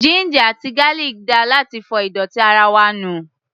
Ginger àti garlic dáa láti fọ ìdọ̀tí ara wa nù.